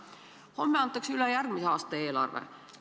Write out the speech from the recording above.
Homme antakse üle järgmise aasta eelarve.